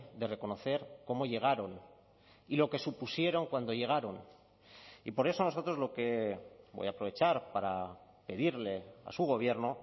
de reconocer cómo llegaron y lo que supusieron cuando llegaron y por eso nosotros lo que voy a aprovechar para pedirle a su gobierno